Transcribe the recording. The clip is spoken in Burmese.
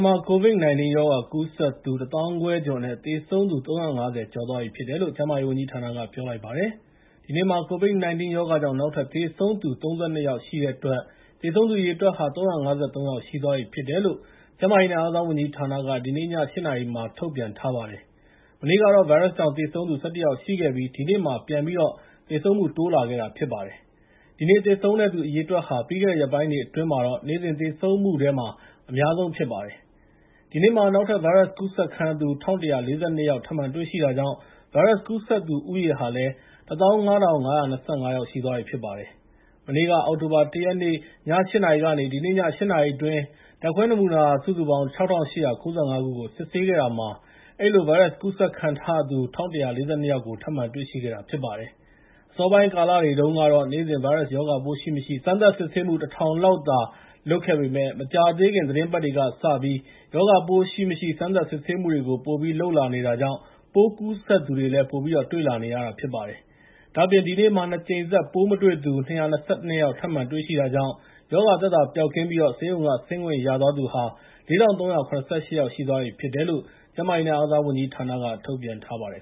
မှာ ကိုဗစ် ၁၉ ရောဂါကူးစက်သူ ၁၅,၀၀၀ ကျော် နဲ့ သေဆုံးသူ ၃၅၀ ကျော်သွားပြီဖြစ်တယ်လို့ ကျန်းမာရေးဝန်ကြီးဌာနက ပြောလိုက်ပါတယ်။ ဒီနေ့မှာ ကိုဗစ် ၁၉ ရောဂါကြောင့် နောက်ထပ် ၃၂ ယောက် သေဆုံးခဲ့တဲ့အတွက် သေဆုံးသူအရေအတွက်ဟာ ၃၅၃ ယောက်ရှိသွားပြီဖြစ်တယ်လို့ ကျန်းမာရေးနဲ့ အားကစားဝန်ကြီးဌာနက ဒီနေ့ ည ၈ နာရီမှာ ထုတ်ပြန်ထားပါတယ်။ မနေ့ကတော့ ဗိုင်းရပ်စ်ကြောင့် သေဆုံးသူ ၁၁ ယောက် ရှိခဲ့ပြီး ဒီနေ့မှာ ပြန်ပြီးတော့ သေဆုံးမှု တိုးလာတာဖြစ်ပြီးပါတယ်။ ဒီနေ့သေဆုံးတဲ့ အရေအတွက်ဟာ ပြီးခဲ့တဲ့ ရက်ပိုင်းတွေအတွင်း နေ့စဉ်သေဆုံးသူထဲမှာ အများဆုံးဖြစ်ပါတယ်။ ဒီနေ့မှာ နောက်ထပ် ဗိုင်းရပ်စ်ကူးစက်ခံရသူ ၁,၁၄၂ ယောက် ထပ်မံတွေ့ရှိတာကြောင့် ဗိုင်းရပ်စ်ကူးစက်သူူ ဦးရေဟာ ၁၅,၅၂၅ ရှိသွားပြီဖြစ်ပါတယ်။ မနေ့ အောက်တိုဘာ ၁ ရက်နေ့ည ၈ နာရီကနေ ဒီနေ့ည ၈ နာရီအတွင်း ဓာတ်ခွဲနမူနာ ၆,၈၉၅ ခုကို စစ်ဆေးခဲ့တာမှာ အဲဒီလို ဗိုင်းရပ်စ်ကူးစက်ခံထားရသူ ၁,၁၄၂ ယောက်ကို ထပ်မံတွေ့ရှိခဲ့တာဖြစ်ပါတယ်။ အစောပိုင်းကာလတွေတုန်းကတော့ နေ့စဉ်ရောဂါပိုးရှိမရှိ စမ်းသပ်စစ်ဆေးမှု ၁,၀၀၀ လောက်သာ လုပ်ခဲ့ပေမဲ့ မကြာသေးခင် သီတင်းပတ်တွေကစပြီး ရောဂါပိုးရှိ၊ မရှိ စမ်းသပ် စစ်ဆေးမှုတွေကို ပိုပြီးလုပ်လာနေတာကြောင့် ပိုးကူးစက်သူတွေ ပိုပြီးတွေ့လာနေရတာဖြစ်ပါတယ်။ ဒါ့အပြင် ဒီနေ့မှာ ၂ ကြိမ်ဆက် ပိုးမတွေ့သူ ၂၂၂ ယောက် ထပ်မံတွေ့ရှိတာကြောင့်၊ရောဂါသက်သာပျောက်ကင်းပြီး ဆေးရုံက ဆင်းခွင့်ရသွားသူ ၄,၃၇၈ ယောက်ရှိပြီဖြစ်တယ်လို့ ကျန်းမာရေးနဲ့ အားကစားဝန်ကြီးဌာနက ထုတ်ပြန်ထားပါတယ်